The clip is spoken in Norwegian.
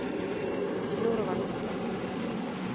Norvald Ottesen